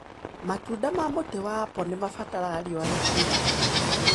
Matunda ma mũtĩ wa apple nĩmabataraga riũa ria kũigana.